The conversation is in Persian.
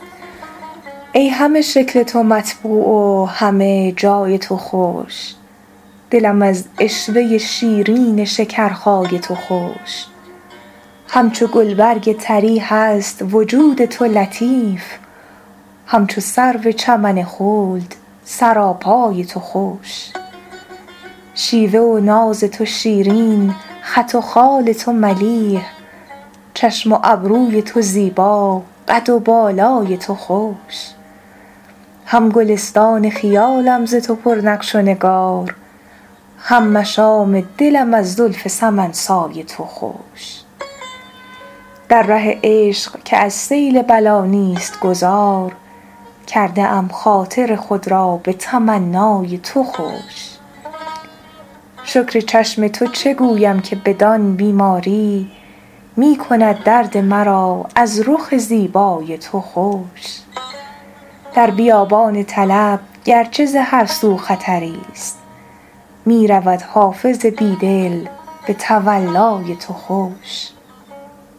ای همه شکل تو مطبوع و همه جای تو خوش دلم از عشوه شیرین شکرخای تو خوش همچو گلبرگ طری هست وجود تو لطیف همچو سرو چمن خلد سراپای تو خوش شیوه و ناز تو شیرین خط و خال تو ملیح چشم و ابروی تو زیبا قد و بالای تو خوش هم گلستان خیالم ز تو پر نقش و نگار هم مشام دلم از زلف سمن سای تو خوش در ره عشق که از سیل بلا نیست گذار کرده ام خاطر خود را به تمنای تو خوش شکر چشم تو چه گویم که بدان بیماری می کند درد مرا از رخ زیبای تو خوش در بیابان طلب گر چه ز هر سو خطری ست می رود حافظ بی دل به تولای تو خوش